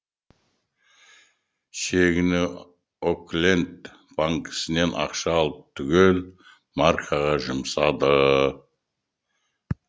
чегіне окленд банкісінен ақша алып түгел маркаға жұмсады